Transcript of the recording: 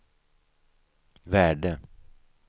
värde